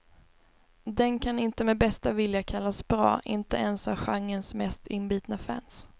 Den kan inte med bästa vilja kallas bra, inte ens av genrens mest inbitna fans.